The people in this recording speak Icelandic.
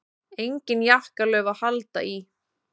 Engin jakkalöf að halda í.